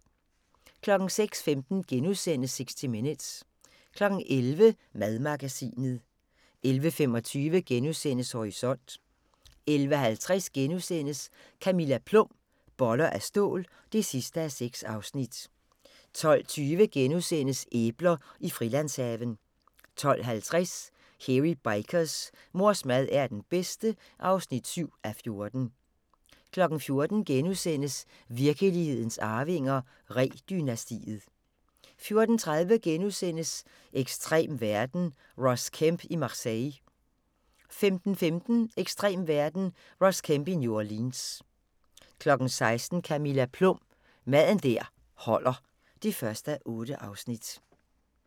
06:15: 60 Minutes * 11:00: Madmagasinet 11:25: Horisont * 11:50: Camilla Plum – Boller af stål (6:6)* 12:20: Æbler i Frilandshaven * 12:50: Hairy Bikers: Mors mad er den bedste (7:14) 14:00: Virkelighedens Arvinger: Ree-dynastiet * 14:30: Ekstrem verden – Ross Kemp i Marseille * 15:15: Ekstrem verden – Ross Kemp i New Orleans 16:00: Camilla Plum – Mad der holder (1:8)